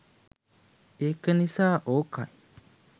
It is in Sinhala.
ඒක නිසා ඕකයි